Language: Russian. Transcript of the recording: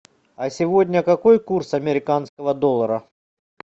а сегодня какой курс американского доллара